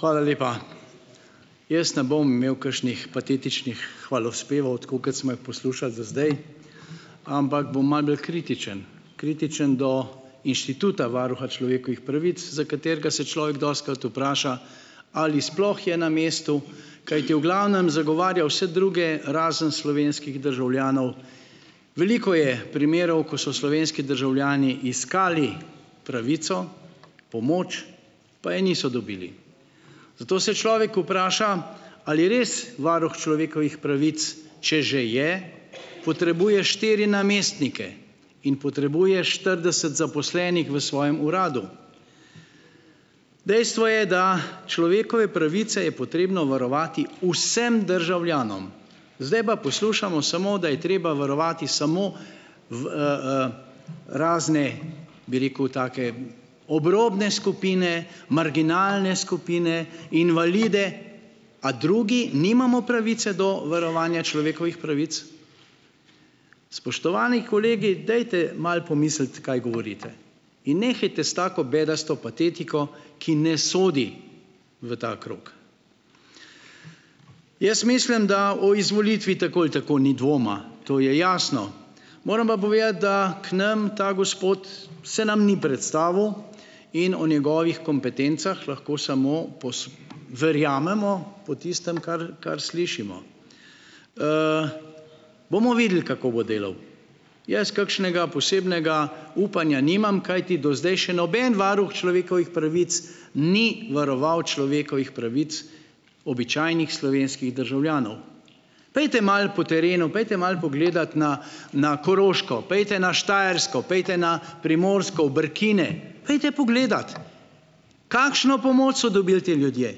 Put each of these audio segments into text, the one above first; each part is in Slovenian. Hvala lepa. Jaz ne bom imel kakšnih patetičnih hvalospevov, tako kot smo jih poslušali do zdaj , ampak bom malo bolj kritičen. Kritičen do inštituta varuha človekovih pravic, za katerega se človek dostikrat vpraša, ali sploh je na mestu, kajti v glavnem zagovarja vse druge, razen slovenskih državljanov. Veliko je primerov, ko so slovenski državljani iskali pravico, pomoč, pa je niso dobili. Zato se človek vpraša, ali res varuh človekovih pravic, če že je, potrebuje štiri namestnike in potrebuje štirideset zaposlenih v svojem uradu? Dejstvo je, da človekove pravice je potrebno varovati vsem državljanom. Zdaj pa poslušamo samo, da je treba varovati samo v, razne, bi rekel tako obrobne skupine, marginalne skupine, invalide, a drugi nimamo pravice do varovanja človekovih pravic? Spoštovani kolegi, dajte malo pomisliti, kaj govorite, in nehajte s tako bedasto patetiko, ki ne sodi v ta krog. Jaz mislim, da o izvolitvi tako ali tako ni dvoma, to je jasno. Moram pa povedati, da k nam ta gospod se nam ni predstavil in o njegovih kompetencah lahko samo verjamemo po tistem, kar kar slišimo. Bomo videli, kako bo delal. Jaz kakšnega posebnega upanja nimam, kajti do zdaj še noben varuh človekovih pravic ni varoval človekovih pravic običajnih slovenskih državljanov. Pojdite malo po terenu, pojdite malo pogledat na na Koroško, pojdite na Štajersko, pojdite na Primorsko, v Brkine, pojdite pogledat, kakšno pomoč so dobili ti ljudje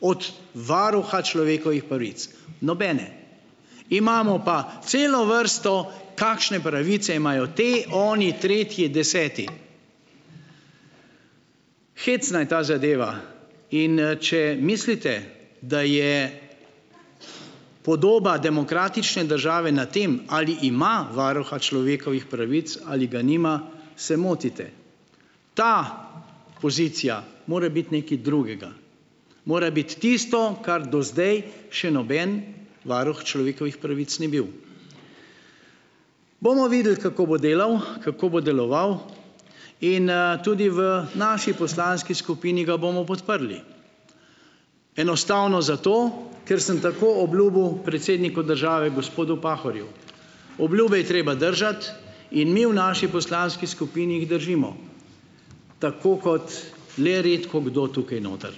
od varuha človekovih pravic, nobene. Imamo pa celo vrsto kakšne pravice imajo te, oni, tretji, deseti. Hecna je ta zadeva, in, če mislite, da je podoba demokratične države na tem, ali ima varuha človekovih pravic ali ga nima, se motite. Ta pozicija mora biti nekaj drugega. Mora biti tisto, kar do zdaj še noben varuh človekovih pravic ni bil. Bomo videli, kako bo delal, kako bo deloval, in, tudi v naši poslanski skupini ga bomo podprli. Enostavno zato, ker sem tako obljubil predsedniku države, gospodu Pahorju. Obljube je treba držati in mi v naši poslanski skupini jih držimo, tako kot le redko kdo tukaj noter.